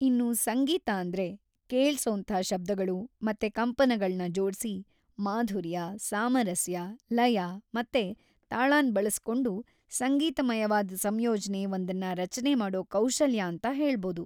ಇನ್ನು ಸಂಗೀತ ಅಂದ್ರೆ ಕೇಳ್ಸೋಂಥ ಶಬ್ದಗಳು ಮತ್ತೆ ಕಂಪನಗಳ್ನ ಜೋಡ್ಸಿ, ಮಾಧುರ್ಯ, ಸಾಮರಸ್ಯ, ಲಯ ಮತ್ತೆ ತಾಳನ್‌ ಬಳಸ್ಕೊಂಡು ಸಂಗೀತಮಯವಾದ್ ಸಂಯೋಜ್ನೆ‌ ಒಂದನ್ನ ರಚ್ನೆ ಮಾಡೋ ಕೌಶಲ್ಯ ಅಂತ ಹೇಳ್ಬೋದು.